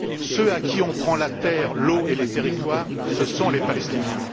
Ceux à qui on prend la terre, l'eau et les territoires, ce sont les Palestiniens.